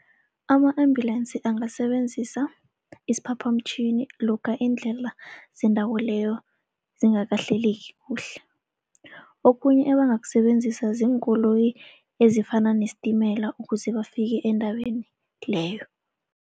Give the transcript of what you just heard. Ama-ambulance angasebenzisa isiphaphamtjhini lokha iindlela zendawo leyo zingakahleleki kuhle. Okhunye ebangakusebenzisa ziinkoloyi ezifana nestimela ukuze bafike endaweni leyo.